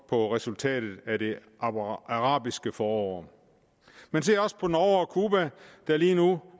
på resultatet af det arabiske forår men se også på norge og cuba der lige nu